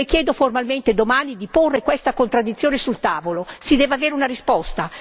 Io Le chiedo formalmente domani di porre questa contraddizione sul tavolo, si deve avere una risposta.